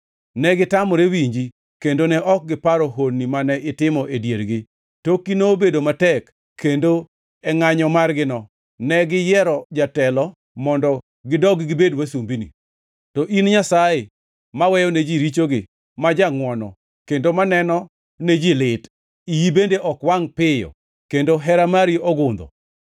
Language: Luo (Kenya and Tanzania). Negitamore winji kendo ne ok giparo honni mane itimo e diergi. Tokgi nobedo matek kendo e ngʼanyo margino ne giyiero jatelo mondo gidog gibed wasumbini. To in Nyasaye maweyone ji richogi, ma jangʼwono kendo maneno ne ji lit, iyi bende ok wangʼ piyo kendo hera mari ogundho.